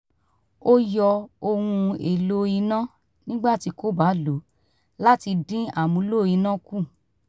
ó yọ ohun èlò iná nígbà tí kò bá lò láti dín amúlò iná kù